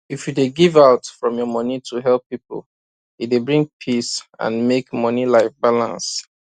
if you dey give out from your money to help people e dey bring peace and make money life balance